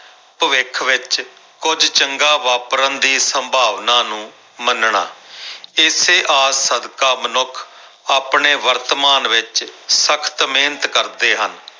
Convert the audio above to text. ਭਵਿੱਖ ਵਿੱਚ ਕੁੱਝ ਚੰਗਾ ਵਾਪਰਨ ਦੀ ਸੰਭਾਵਨਾ ਨੂੰ ਮੰਨਣਾ ਇਸੇ ਆਸ ਸਦਕਾ ਮਨੁੱਖ ਆਪਣੇ ਵਰਤਮਾਨ ਵਿੱਚ ਸਖ਼ਤ ਮਿਹਨਤ ਕਰਦੇ ਹਨ।